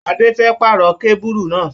Adé fẹ́ pàrọ̀ kábùrù náà.